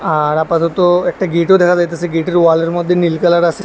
আর আপাতত একটা গেটও দেখা যাইতাছে গেটের ওয়ালের মধ্যে নীল কালার আছে।